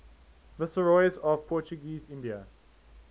viceroys of portuguese india